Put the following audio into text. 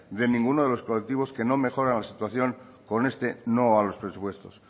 de ninguno de los colectivos que no mejoran la situación con este no a los presupuestos